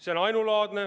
See on ainulaadne.